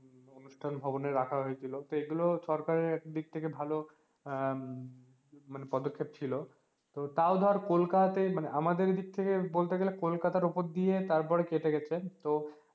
অনুঠান ভবনে রাখা হয়েছিল তো এগুলো সরকারের এক দিক থেকে ভালো আহ মানে পদক্ষেপ ছিল তো তও ধর কোলকাতা তে মানে আমাদের এইদিক থেকে বলতে গেলে কলকাতার উপর দিয়ে কেটে গেছে তো